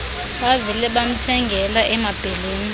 bavele bamthengela emabheleni